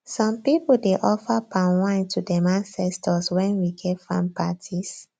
some people dey offer palm wine to dem ancetors wen we get farm parties